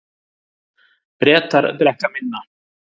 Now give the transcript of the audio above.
Bretar drekka minna